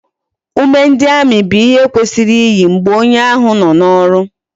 Ume ndi army bu ihe kwesiri iyi mgbe onye ahu no na oru